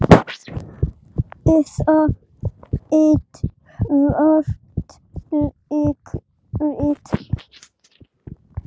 Eða eitthvert leikrit.